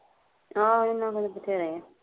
ਆਹੋ ਏਹਨਾ ਕੋਲ ਵਧੇਰੇ ਐ